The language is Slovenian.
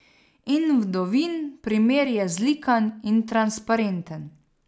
In Vdovin primer je zlikan in transparenten.